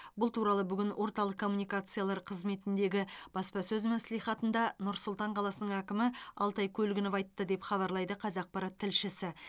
бұл туралы бүгін орталық коммуникациялар қызметіндегі баспасөз мәслихатында нұр сұлтан қаласының әкімі алтай көлгінов айтты деп хабарлайды қазақпарат тілшісі